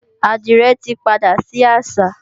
Àdìrẹ tí padà sí àṣà